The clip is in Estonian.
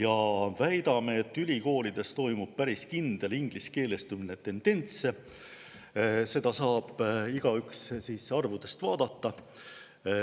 Me väidame, et ülikoolides on päris kindel ingliskeelestumise tendents, seda saab igaüks arvudest vaadata.